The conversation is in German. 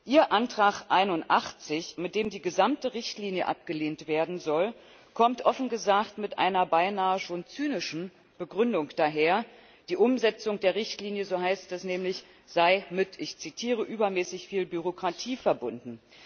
Ihr Antrag 81, mit dem die gesamte Richtlinie abgelehnt werden soll, kommt offen gesagt mit einer beinahe schon zynischen Begründung daher, die Umsetzung der Richtlinie so heißt es nämlich sei ich zitiere mit übermäßig viel Bürokratie verbunden.